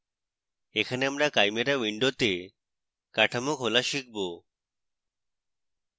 এখানে আমরা chimera window কাঠামো খোলা শিখব